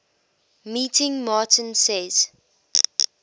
meeting martin says